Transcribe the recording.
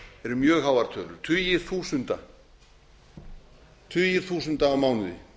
eru mjög háar tölur tugir þúsunda tugir þúsunda á mánuði